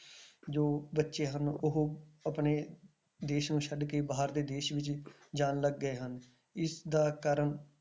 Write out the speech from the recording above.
ਜੋ ਬੱਚੇ ਹਨ ਉਹ ਆਪਣੇ ਦੇਸ ਨੂੰ ਛੱਡ ਕੇ ਬਾਹਰਲੇ ਦੇਸ ਵਿੱਚ ਜਾਣ ਲੱਗ ਗਏ ਹਨ, ਇਸਦਾ ਕਾਰਨ